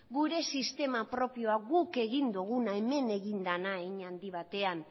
gure sistema propioa guk egin duguna hemen egin dena hein handi batean